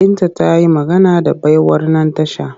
Binta ta yi magana da baiwar nan tasha